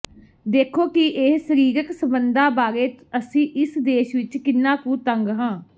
ਦੇਖੋ ਕਿ ਇਹ ਸਰੀਰਕ ਸਬੰਧਾਂ ਬਾਰੇ ਅਸੀਂ ਇਸ ਦੇਸ਼ ਵਿਚ ਕਿੰਨਾ ਕੁ ਤੰਗ ਹਾਂ